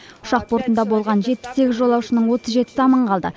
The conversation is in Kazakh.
ұшақ бортында болған жетпіс сегіз жолаушының отыз жетісі аман қалды